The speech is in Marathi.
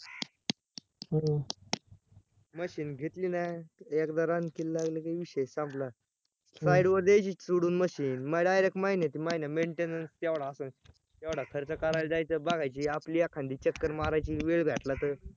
machine घेतली नाय एकदा run करायला लागली की विषय संपला site वर द्यायची सोडून machine मग director महिन्या च्या महिन्या maintenance केवढा असेल? येवडा खर्च करायला जायच, बघायची आपली एखादी चक्कर मारायची वेळ भेटला तर